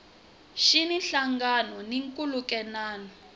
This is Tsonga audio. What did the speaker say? xi na nhlangano na nkhulukelano